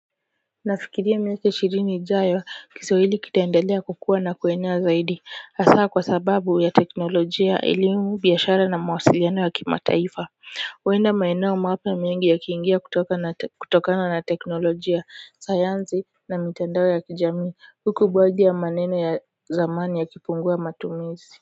Nafikiria miaka ishirini ijayo Kiswahili kitaendelea kukuwa na kuenea zaidi hasa kwa sababu ya teknolojia elimu biashara na mawasiliano wa kima taifa kwenda maeneo mapya mengi yakiingia kutoka kutokana na teknolojia sayansi na mitandao ya kijamii huku baadhi ya maneno ya zamani yakipungua matumizi.